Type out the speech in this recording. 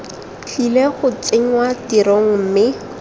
tlile go tsenngwa tirisong mme